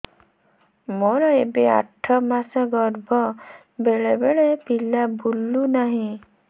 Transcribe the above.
ମୋର ଏବେ ଆଠ ମାସ ଗର୍ଭ ବେଳେ ବେଳେ ପିଲା ବୁଲୁ ନାହିଁ